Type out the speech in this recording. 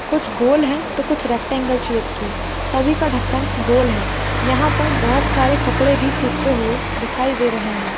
कुछ गोल है तो कुछ रैक्टेंगल शेप की सभी का ढक्कन गोल है यहां पर बहुत सारे कपड़े भी सूखते हुए दिखाई दे रहे हैं।